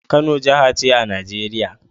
Kano jaha ce a Nigeria